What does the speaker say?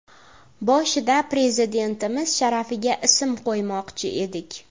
Boshida Prezidentimiz sharafiga ism qo‘ymoqchi edik.